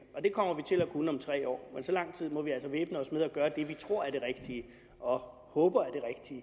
og det kommer vi til at kunne om tre år men så lang tid må vi altså væbne os med tålmodighed og gøre det vi tror er det rigtige og håber er